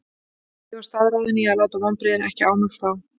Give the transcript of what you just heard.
Ég var staðráðinn í að láta vonbrigðin ekki á mig fá.